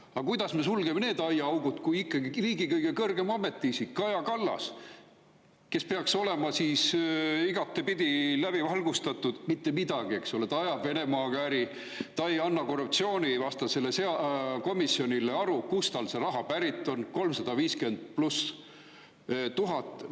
Aga kuidas me sulgeme need aiaaugud, kui ikkagi kõige kõrgem ametiisik, Kaja Kallas, kes peaks olema igatpidi läbi valgustatud – mitte midagi, eks ole, ta ajab Venemaaga äri, ta ei anna korruptsioonivastasele komisjonile aru, kust tal see raha pärit on, üle 350 000?